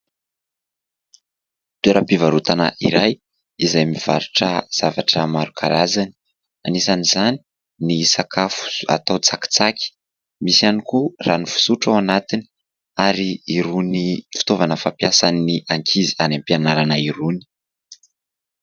Toeram_pivarotana iray izay mivarotra zavatra maro karazany anisan'izany ny sakafo atao tsakitsaky. Misy ihany koa rano fisotro ao anatiny, ary irony fitaovana fampiasan'ny ankizy any am_pianarana irony.